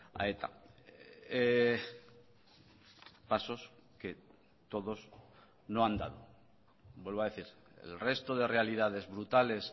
a eta pasos que todos no han dado vuelvo a decir el resto de realidades brutales